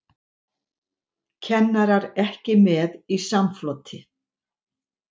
Kennarar ekki með í samfloti